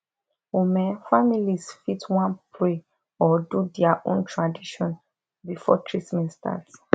ome families fit wan pray or do their own tradition before treatment start